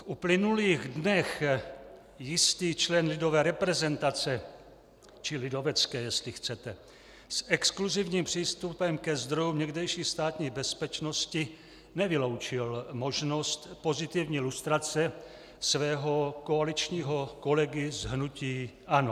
V uplynulých dnech jistý člen lidové reprezentace, či lidovecké, jestli chcete, s exkluzivním přístupem ke zdrojům někdejší Státní bezpečnosti, nevyloučil možnost pozitivní lustrace svého koaličního kolegy z hnutí ANO.